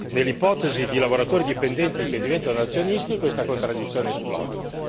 Nell'ipotesi di lavoratori dipendenti che diventano azionisti questa contraddizione esplode.